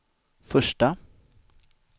första